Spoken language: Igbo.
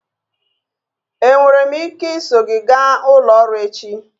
Enwere m ike iso gị gaa ụlọ ọrụ echi?